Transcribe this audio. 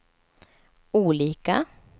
olika